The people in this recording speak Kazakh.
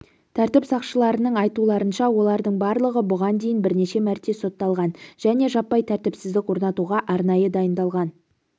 тәртіп сақшыларының айтуларынша олардың барлығы бұған дейін бірнеше мәрте сотталған және жаппай тәртіпсіздік орнатуға арнайы дайындалған